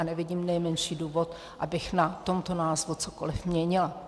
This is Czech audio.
A nevidím nejmenší důvod, abych na tomto názvu cokoli měnila.